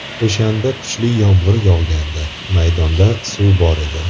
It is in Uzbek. O‘shanda kuchli yomg‘ir yog‘gandi, maydonda suv bor edi.